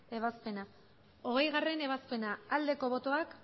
ebazpena hogeigarrena ebazpena aldeko botoak